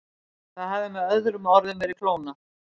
Það hafði með öðrum orðum verið klónað.